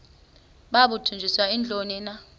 babudunjiswe yintoni na